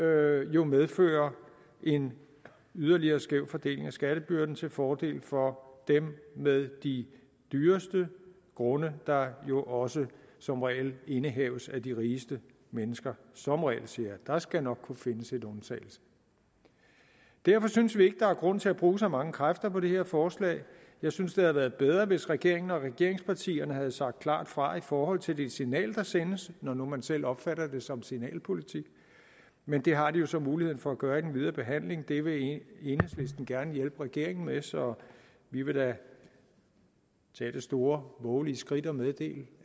jo medføre en yderligere skæv fordeling af skattebyrden til fordel for dem med de dyreste grunde der jo også som regel indehaves af de rigeste mennesker som regel siger jeg der skal nok kunne findes en undtagelse derfor synes vi ikke der er grund til at bruge så mange kræfter på det her forslag jeg synes at været bedre hvis regeringen og regeringspartierne havde sagt klart fra i forhold til det signal der sendes når nu man selv opfatter det som signalpolitik men det har de jo så muligheden for at gøre i den videre behandling det vil enhedslisten gerne hjælpe regeringen med så vi vil da tage det store vovelige skridt at meddele